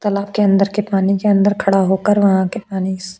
तालाब के अंदर के पानी के अंदर खड़ा होकर वहां के पानी --